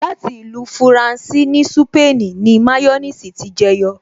Láti ìlú fúrànsì ní súpènì ni máyọ́nìsì ti jẹ yọ